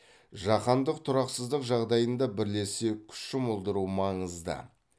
жаһандық тұрақсыздық жағдайында бірлесе күш жұмылдыру маңызды